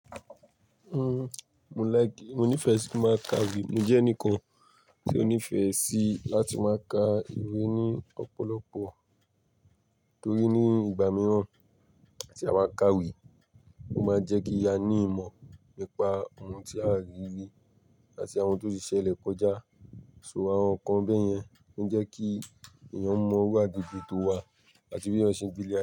Uhm, mo like, mo nifẹ si ma ka ìwé. Mo jẹ ẹnikan ti o nifẹ si lati ma ka ìwé ni ọpọlọpọ, torí ni ìgbà mìíràn tí a ma ka ìwé, o ma jẹ́ kí a ni ìmọ̀ nípa ohun tí a rí rí àti àwọn to ti ṣẹlẹ̀ kọjá. So àwọn nkan bẹ́yẹn n jẹ́ kí èèyàn mọ wa gbogbo to wa àti bí wọn ṣe ń gbé lẹ́yà.